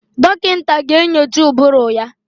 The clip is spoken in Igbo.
Dọkịta ga-enyocha ụbụrụ ya.